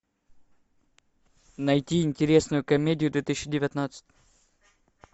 найти интересную комедию две тысячи девятнадцать